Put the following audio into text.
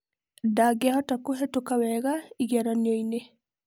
Ndangĩhota kũhetũka wega igeranio-inĩ.